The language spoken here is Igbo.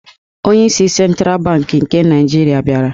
Onyeisi Sentral Bankị nke Naijirịa bịara.